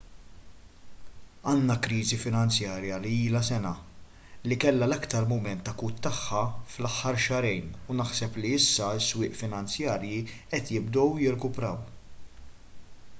għandna kriżi finanzjarja li ilha sena li kellha l-aktar mument akut tagħha fl-aħħar xahrejn u naħseb li issa s-swieq finanzjarji qed jibdew jirkupraw